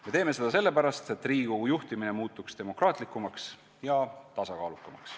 Me teeme seda sellepärast, et Riigikogu juhtimine muutuks demokraatlikumaks ja tasakaalukamaks.